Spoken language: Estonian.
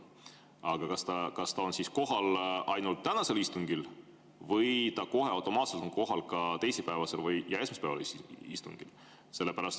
Aga kas ta on kohal ainult tänasel istungil või ta kohe automaatselt on kohal ka teisipäevasel ja esmaspäevasel istungil?